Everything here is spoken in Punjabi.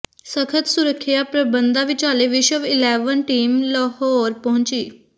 ਸਖ਼ਤ ਸੁਰੱਖਿਆ ਪ੍ਰਬੰਧਾਂ ਵਿਚਾਲੇ ਵਿਸ਼ਵ ਇਲੈਵਨ ਟੀਮ ਲਾਹੌਰ ਪਹੁੰਚੀ